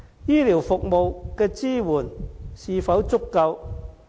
醫療服務的支援是否足夠？